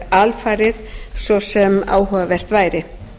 alfarið svo sem áhugavert væri